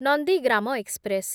Nandigram express